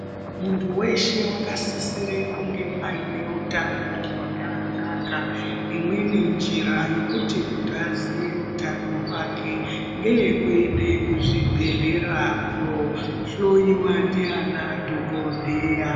Muntu weshe wakasisire kunge ayine utano hwakanaka, imweni njira yekuti muntu aziye utano hwake, ngeyekuende kuzvibhedhlera kundohloyiwa ndeana dhokodheya.